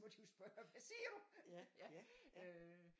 Må de jo spørge hvad siger du øh